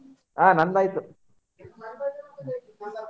ಹಾ ನಂದ್ ಆಯ್ತ್,